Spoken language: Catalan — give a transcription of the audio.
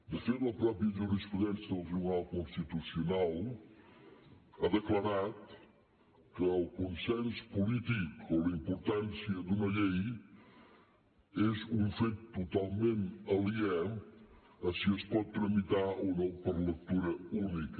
de fet la mateixa jurisprudència del tribunal constitucional ha declarat que el consens polític o la importància d’una llei és un fet totalment aliè a si es pot tramitar o no per lectura única